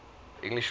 english rock music